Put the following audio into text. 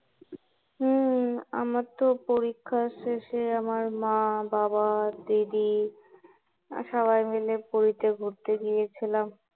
হম আমার তো পরীক্ষা শেষে আমার মা, বাবা, দিদি সবাই মিলে পুরীতে ঘুরতে গিয়েছিলাম